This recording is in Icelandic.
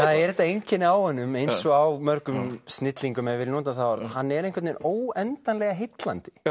það er þetta einkenni á honum eins og á mörgum snillingum ef ég nota það orð hann er einhvern veginn óendanlega heillandi